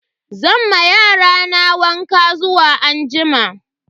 Zan ma yarana wanka zuwa anjima.